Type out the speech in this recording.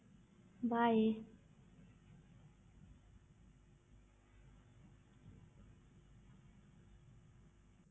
Bye